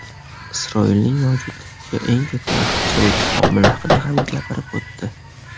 Isroilning mavjudligiga eng katta raxna soluvchi omil haqida ham gapirib o‘tdi.